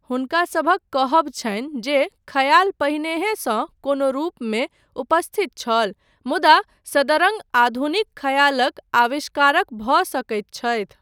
हुनकासभक कहब छनि जे खयाल पहिनेहेसँ कोनो रूपमे उपस्थित छल मुदा सदरङ्ग आधुनिक खयालक आविष्कारक भऽ सकैत छथि।